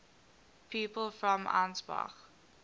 people from ansbach